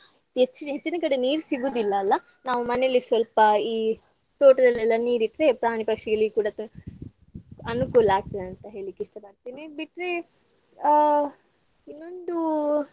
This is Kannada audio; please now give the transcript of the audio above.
ಹೆಚ್ಚಿನ ಹೆಚ್ಚಿನ ಕಡೆ ನೀರ್ ಸಿಗುದಿಲ್ಲಲ್ಲಾ ನಾವು ಮನೇಲಿ ಸ್ವಲ್ಪಈ ತೋಟದಲ್ಲೆಲ್ಲಾ ನೀರ್ ಇಟ್ರೆ ಪ್ರಾಣಿಪಕ್ಷಿಗಳಿಗೆ ಕೂಡಾ ತು~ ಅನುಕೂಲ ಆಗ್ತದೆ ಅಂತ ಹೇಳ್ಲಿಕ್ಕ್ ಇಷ್ಟಪಡ್ತೇನೆ. ಬಿಟ್ರೆ ಆ ಇನ್ನೊಂದು.